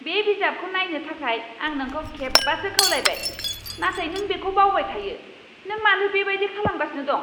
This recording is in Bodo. बे बिजाबखौ बायनो थाखाय आं नोंखौ खेबबासो खावलायबाय, नाथाय नों बेखौ बावबाय थायो। नों मानो बेबायदि खालामगासिनो दं?